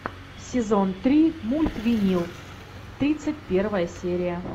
сезон три мульт винил тридцать первая серия